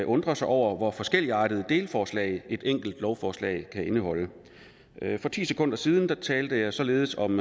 undre sig over hvor forskelligartede delforslag et enkelt lovforslag kan indeholde for ti sekunder siden talte jeg således om